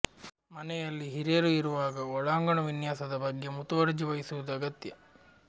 ಮನೆಯಲ್ಲಿ ಹಿರಿಯರು ಇರುವಾಗ ಒಳಾಂಗಣ ವಿನ್ಯಾಸದ ಬಗ್ಗೆ ಮುತುವರ್ಜಿ ವಹಿಸುವುದು ಅಗತ್ಯ